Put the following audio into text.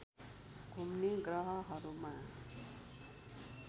घुम्ने ग्रहहरूमा